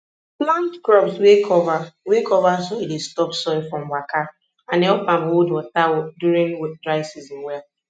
plant crops wey cover wey cover soil dey stop soil from waka and help am hold water during dry season well